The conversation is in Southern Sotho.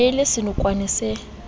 ne e le senokwane se